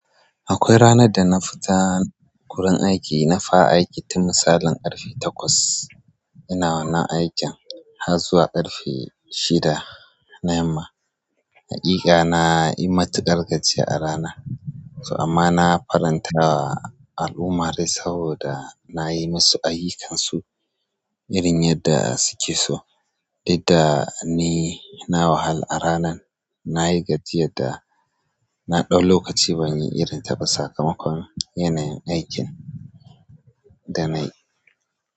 Akwai ranar da na fita wurin aiki, na fara aiki tun misalin ƙarfe takwas. Ina wannan aikin har zuwa ƙarfe shida na yamma. Haƙiƙa na yi matuƙar gajiyar a rana, amma na faranta wa al'ummari saboda na yi musu ayyukansu irin yadda su ke so. Duk da ni na wahala a ranan, na yi gajiyar da na ɗau lokaci ban yi irin ta ba sakamakon yanayin aikin. Da na yi.